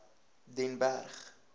den berg